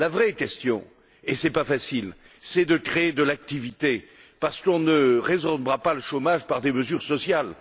La vraie solution, et ce n'est pas facile, consiste à créer de l'activité, parce qu'on ne résorbera pas le chômage par des mesures sociales.